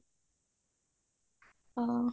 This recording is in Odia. ଓ